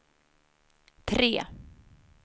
tre